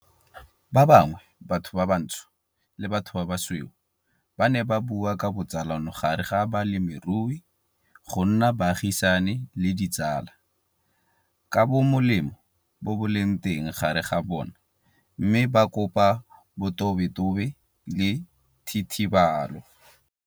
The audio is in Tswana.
Ba bangwe, batho ba bantsho le batho ba basweu, ba ne ba bua ka botsalano gare ga balemirui go nna baagisani le ditsala, ka bomolemo bo bo leng teng gare ga bona mme ba kopa botobetobe le thitibalo.